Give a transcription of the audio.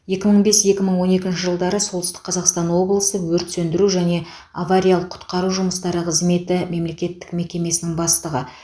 екі мың бес екі мың он екінші жылдары солтүстік қазақстан облысы өрт сөндіру және авариялық құтқару жұмыстары қызметі мемлекеттік мекемесінің бастығы